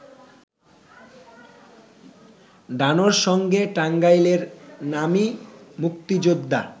ডানোর সঙ্গে টাঙ্গাইলের নামী মুক্তিযোদ্ধা